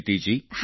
પ્રીતિ જી